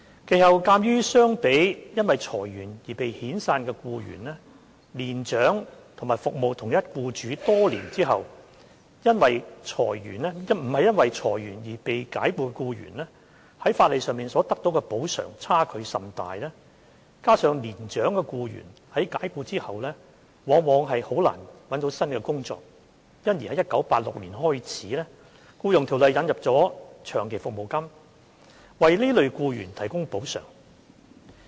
其後，鑒於相比因裁員而被遣散的僱員，年長及服務同一僱主多年後非因裁員而被解僱的僱員，在法例上所得補償差距甚大；加上年長的僱員在解僱後往往甚難覓得新工作，因而由1986年開始，《僱傭條例》引入長期服務金，為這類僱員提供補償。